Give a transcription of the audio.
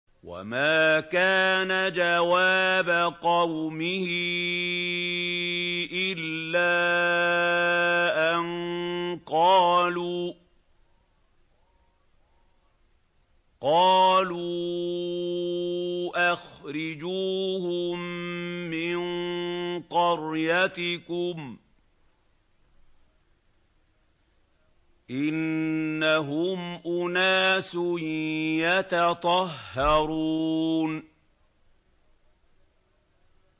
وَمَا كَانَ جَوَابَ قَوْمِهِ إِلَّا أَن قَالُوا أَخْرِجُوهُم مِّن قَرْيَتِكُمْ ۖ إِنَّهُمْ أُنَاسٌ يَتَطَهَّرُونَ